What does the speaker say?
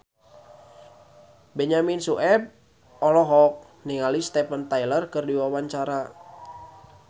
Benyamin Sueb olohok ningali Steven Tyler keur diwawancara